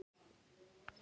Það gefur henni mikið.